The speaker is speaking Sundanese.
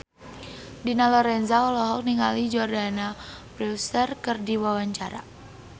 Dina Lorenza olohok ningali Jordana Brewster keur diwawancara